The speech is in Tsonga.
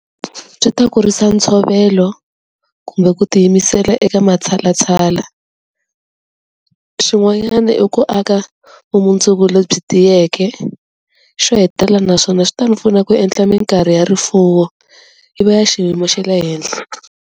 Byi ta kurisa ntshovelo kumbe ku tiyimisela eka matshalatshala, xin'wanyani i ku aka vumundzuku lebyi tiyeke, xo hetelela naswona swi ta ni pfuna ku endla minkarhi ya rifuwo yi va ya xiyimo xa le henhla.